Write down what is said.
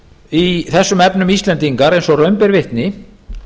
í þessum efnum íslendingar og raun ber vitni